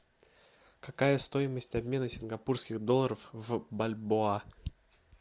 какая стоимость обмена сингапурских долларов в бальбоа